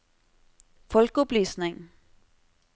folkeopplysning